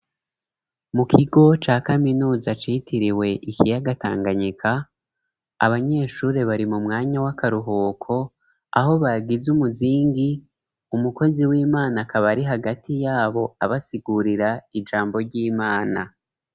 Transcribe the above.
Mu kigo ca kaminuza citiriwe ikiyaga tanganyika abanyeshuri bari mu mwanya w'akaruhuko aho bagize umuzingi umukozi w'imana akaba ari hagati y'abo abasigurira ijambo ry'imana.